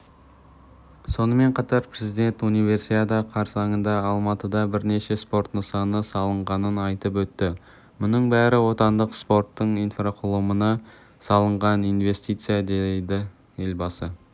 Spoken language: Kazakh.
сонымен қатар президент универсиада қарсаңында алматыда бірнеше спорт нысаны салынғанын айтып өтті мұның бәрі отандық спорттың инфрақұрылымына салынған инвестиция деді елбасы